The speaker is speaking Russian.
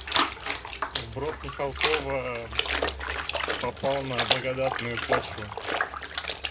вброс михалкова попал на благодатную почву